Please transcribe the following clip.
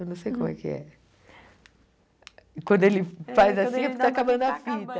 Eu não sei como é que é. Quando ele faz assim, está acabando a fita. É está acabando